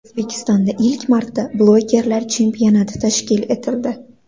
O‘zbekistonda ilk marta bloggerlar chempionati tashkil etildi.